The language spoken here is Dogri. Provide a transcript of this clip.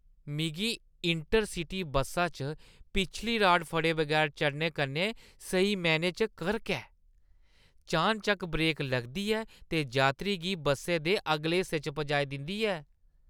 मिगी इंटर-सिटी बस्सा च पिछली राड फड़े बगैर चढ़ने कन्नै स्हेई मैह्‌नें च करक ऐ। चानचक्क ब्रेक लगदी ऐ ते यात्री गी बस्से दे अगले हिस्से च पजाई दिंदी ऐ।